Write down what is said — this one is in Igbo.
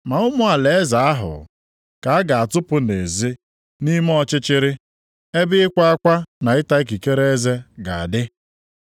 Ma ụmụ alaeze ahụ, ka a ga-atụpụ nʼezi, nʼime ọchịchịrị, ebe ịkwa akwa na ịta ikikere eze ga-adị.”